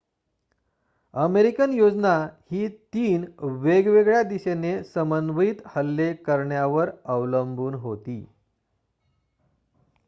American योजना ही तीन वेगवेगळ्या दिशेने समन्वित हल्ले करण्यावर अवलंबून होती